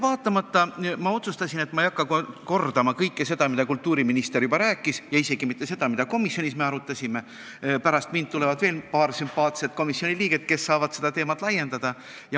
Ma otsustasin, et ei hakka kordama kõike seda, mida kultuuriminister juba rääkis, ja isegi mitte seda, mida me komisjonis arutasime – pärast mind tuleb veel paar sümpaatset komisjoni liiget, kes saavad seda teemat laiendada.